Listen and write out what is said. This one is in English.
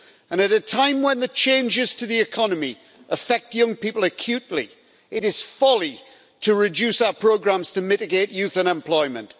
And at a time when the changes to the economy affect young people acutely, it is folly to reduce our programmes to mitigate youth unemployment.